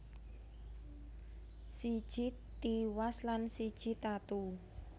Siji tiwas lan siji tatu